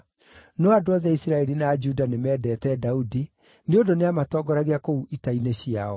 No andũ othe a Isiraeli na Juda nĩmendete Daudi nĩ ũndũ nĩamatongoragia kũu ita-inĩ ciao.